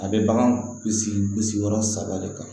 A bɛ bagan kisi kisi yɔrɔ saba de kan